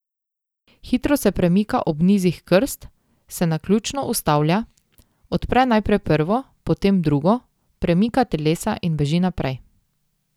Hitro se premika ob nizih krst, se naključno ustavlja, odpre najprej prvo, potem drugo, premika telesa in beži naprej.